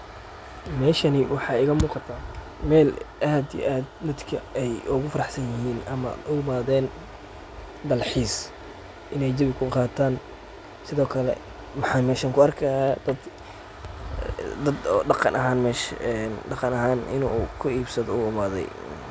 Meshani waxa iga muqataa meel aad ii aad dadka ay ugu faraxsanyahin ama u imadeen dalxis, Ina jawi kuqataan. sidookale maxa meshan ku arkahaya dad, dad oo dhaqan ahaan mesha dhaqan ahaan inu ku ibsado u imaaday.